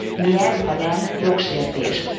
Mi ez, ha nem jogsértés?